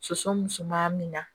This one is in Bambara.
Soso musoman min na